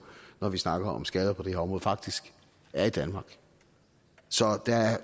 når vi snakker om skader på det her område faktisk er i danmark så der er